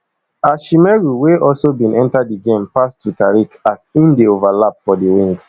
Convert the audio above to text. ashimeru wey also bin enta di game pass to tariq as im dey overlap for di wings